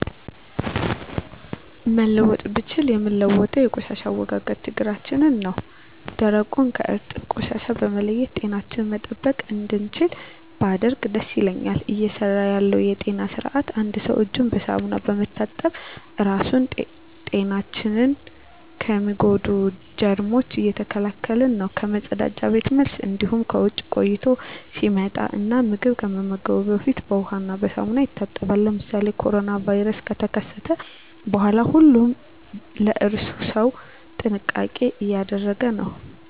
መለወጥ ብችል ምለውጠው የቆሻሻ አወጋገድ ችግራችን ነው ደረቁን ከእርጥብ ቆሻሻ በመለየት ጤናችንን መጠበቅ እንድችል ባደርግ ደስ ይለኛል። እየሰራ ያለው የጤና ስርአት አንድ ሰው እጁን በሳሙና በመታጠብ ራሱን ጤናችን ከሚጎዱ ጀርሞች እየተከላከለ ነው ከመፀዳጃ ቤት መልስ እንዲሁም ከውጭ ቆይቶ ሲመጣ እና ምግብ ከመመገቡ በፊት በውሃ እና ሳሙና ይታጠባል። ለምሳሌ ኮሮና ቫይረስ ከተከሰተ በኋላ ሁሉም ለእራሱ ሰው ጥንቃቄ እያደረገ ነው።